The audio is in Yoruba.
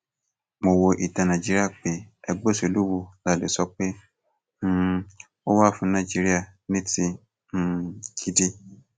mo wo ìtàn nàìjíríà pé ẹgbẹ òṣèlú wo la lè sọ pé um ó wà fún nàìjíríà ní ti um gidi